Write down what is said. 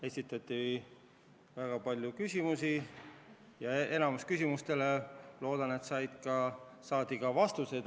Esitati väga palju küsimusi ja enamikule neist saadi loodetavasti ka vastused.